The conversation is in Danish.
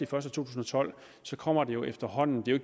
2012 så kommer det jo efterhånden det er